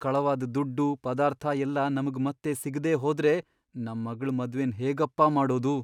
ಕಳವಾದ್ ದುಡ್ಡು, ಪದಾರ್ಥ ಎಲ್ಲ ನಮ್ಗ್ ಮತ್ತೆ ಸಿಗ್ದೇ ಹೋದ್ರೆ ನಮ್ಮಗ್ಳ್ ಮದ್ವೆನ್ ಹೇಗಪ್ಪಾ ಮಾಡೋದು?!